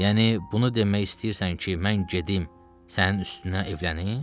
Yəni bunu demək istəyirsən ki, mən gedim sənin üstünə evlənim?